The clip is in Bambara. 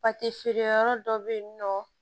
feere yɔrɔ dɔ bɛ yen nɔ